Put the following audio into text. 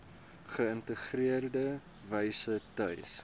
geïntegreerde wyse tuis